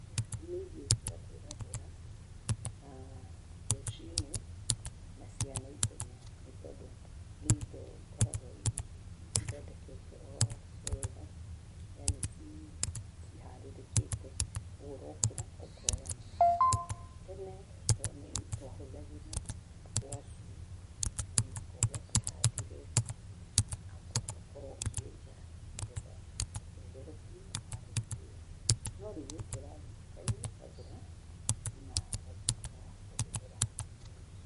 Nĩ irio cia kwĩgagũra, rũci-inĩ na cia naihenya, nĩ tondũ nĩ indo ikoragwo ithondeketwo o wega na nĩ ciharĩrĩkĩte, koguo ũrokĩra ũkoya na ũkahũthĩra. Tene twahũthagĩra ngwacĩ, no mũhaka ũngĩakĩhandire na ũcoke ũkorwo ũkĩenja nĩ getha ũcoke ũtherũkie ũharĩrĩrie. No rĩu gĩkĩ ũrathiĩ nduka-inĩ ũkagũra na ũgatuĩka wa kũhũthĩra rũci-inĩ.